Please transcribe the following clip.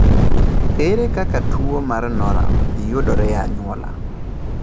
Ere kaka tuwo mar Norum yudore e anyuola?